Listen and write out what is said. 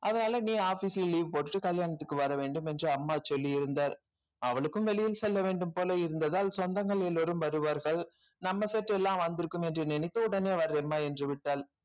அதனால நீ office ல leave போட்டுட்டு கல்யாணத்துக்கு வர வேண்டும் என்று அம்மா சொல்லியிருந்தார் அவளுக்கும் வெளியில் செல்ல வேண்டும் போல இருந்ததால் சொந்தங்கள் எல்லாரும் வருவார்கள் நம்ம set எல்லாம் வந்திருக்கும் என்று நினைத்து உடனே வரேன்ம்மா என்று விட்டாள்